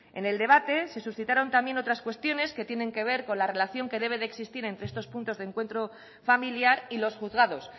en el debate se suscitaron también otras cuestiones que tienen que ver con la relación que debe de existir entre estos puntos de encuentro familiar y los juzgados